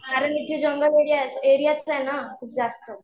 कारण इथे जंगल एरिया आहे ना खूप जास्त.